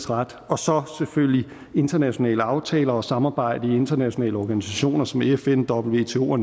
ret og så selvfølgelig internationale aftaler og samarbejde i internationale organisationer som fn wto nato og